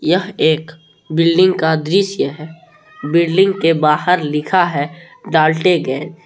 यह एक बिल्डिंग का दृश्य है बिल्डिंग के बाहर लिखा है डाल्टनगंज ।